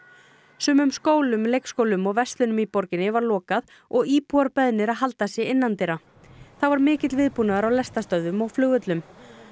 sumum skólum leikskólum og verslunum í borginni var lokað og íbúar beðnir að halda sig innandyra þá var mikill viðbúnaður á lestarstöðvum og flugvöllum